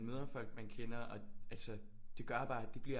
Møder folk man kender og altså det gør bare det bliver